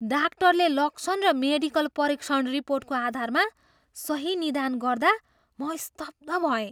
डाक्टरले लक्षण र मेडिकल परीक्षण रिपोर्टको आधारमा सही निदान गर्दा म स्तब्ध भएँ!